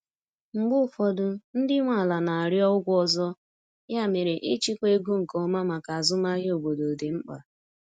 Mgbe ụfọdụ, ndị nwe ala na-arịọ ụgwọ ọzọ, ya mere ịchịkwa ego nke ọma maka azụmahịa obodo dị mkpa.